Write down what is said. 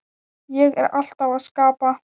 Ég er alltaf að skapa